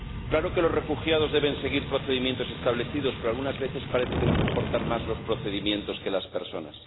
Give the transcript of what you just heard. Claro que los refugiados deben seguir procedimientos establecidos, pero algunas veces parece que nos importan más los procedimientos que las personas.